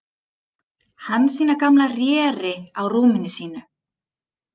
Hansína gamla reri á rúminu sínu.